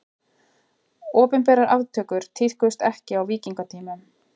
Opinberar aftökur tíðkuðust ekki á víkingatímanum.